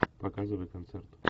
показывай концерт